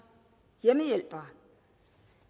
hjemmehjælpere